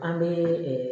An bɛ